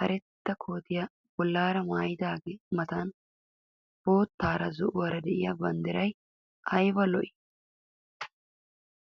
karetta kootiya bollaara maayidaagaa matan boottaara zo'uwaara diya banddiraay ayiba lo'ii!